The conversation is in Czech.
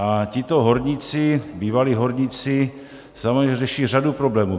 A tito horníci, bývalí horníci, samozřejmě řeší řadu problémů.